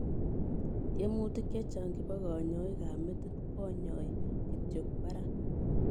Tiemutik chechang chepoo kanyaik ap metit konyai kityo parak.